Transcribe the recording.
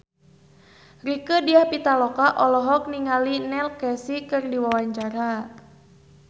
Rieke Diah Pitaloka olohok ningali Neil Casey keur diwawancara